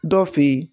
Dɔ fe yen